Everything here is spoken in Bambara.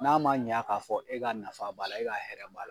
N'a ma ɲa k'a fɔ e ka nafa b'a la, e ka hɛrɛ b'a la